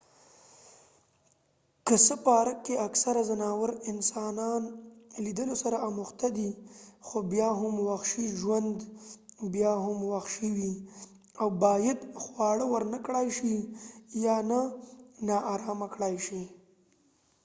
که څه پارک کې اکثره ځناور انسانان لیدلو سره اموخته دي خو بیا هم وحشي ژوند بیا هم وحشي وي او باید خواړه ورنکړای شي یا نه ناارامه کړای شي